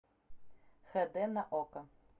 хэ дэ на окко